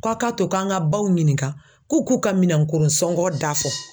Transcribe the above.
Ko a' k'a to k'an ŋa baw ɲininka k'u k'u ka minɛnkoron sɔngɔ da fɔ.